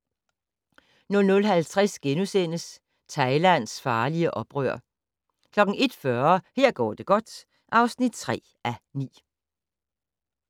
00:50: Thailands farlige oprør * 01:40: Her går det godt (3:9)